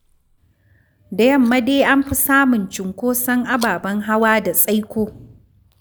Da yamma dai an fi samun cunkoson ababen hawa da tsaiko.